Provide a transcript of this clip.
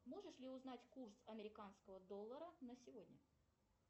можешь ли узнать курс американского доллара на сегодня